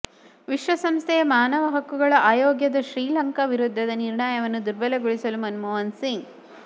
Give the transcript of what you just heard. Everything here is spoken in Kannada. ವಿಶ್ವಸಂಸ್ಥೆಯ ಮಾನವ ಹಕ್ಕುಗಳ ಆಯೋಗದ ಶ್ರೀಲಂಕ ವಿರುದ್ಧದ ನಿರ್ಣಯವನ್ನು ದುರ್ಬಲಗೊಳಿಸಲು ಮನಮೋಹನ್ಸಿಂಗ್